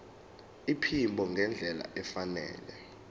iphimbo ngendlela efanele